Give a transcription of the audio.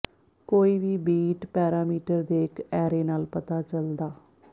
ਕੋਈ ਵੀ bit parameter ਦੇ ਇੱਕ ਐਰੇ ਨਾਲ ਪਤਾ ਚੱਲਦਾ